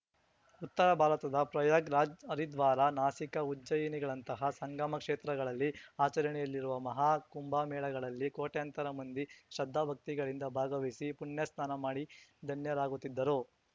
ಉತ್ತರ ಭಾರತದ ಪ್ರಯಾಗ್‌ ರಾಜ್‌ ಹರಿದ್ವಾರ ನಾಸಿಕ ಉಜ್ಜಯಿನಿಗಳಂತಹ ಸಂಗಮ ಕ್ಷೇತ್ರಗಳಲ್ಲಿ ಆಚರಣೆಯಲ್ಲಿರುವ ಮಹಾ ಕುಂಭಮೇಳಗಳಲ್ಲಿ ಕೋಟ್ಯಂತರ ಮಂದಿ ಶ್ರದ್ಧಾಭಕ್ತಿಗಳಿಂದ ಭಾಗವಹಿಸಿ ಪುಣ್ಯಸ್ನಾನ ಮಾಡಿ ಧನ್ಯರಾಗುತ್ತಿದ್ದರು